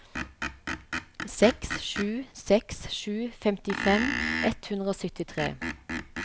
seks sju seks sju femtifem ett hundre og syttitre